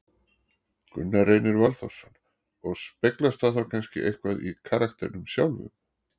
Gunnar Reynir Valþórsson: Og speglast það þá kannski eitthvað í karakternum sjálfum?